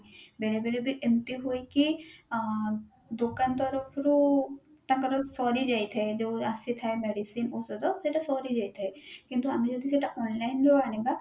ବେଳେବେଳ ବି ଏମତି ହୁଏ କି ଆଁ ଦିକନ ତରଫରୁ ତାଙ୍କର ସରି ଯାଇଥାଏ ଯୋଉ ଆସିଥାଏ medicine ଔଷଧ ସେଟା ସରି ଯାଇଥାଏ କିନ୍ତୁ ଆମେ ଯଦି ସେଇଟା online ରୁ ଆଣିବା